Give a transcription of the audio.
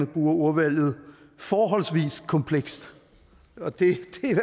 bruger ordvalget forholdsvis kompleks og det